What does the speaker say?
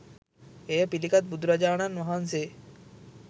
එය පිළිගත් බුදුරජාණන් වහන්සේ